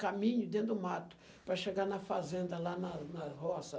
Caminho dentro do mato para chegar na fazenda, lá na na roça.